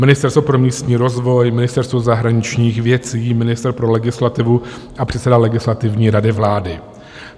Ministerstvo pro místní rozvoj, Ministerstvo zahraničních věcí, ministr pro legislativu a předseda Legislativní rady vlády.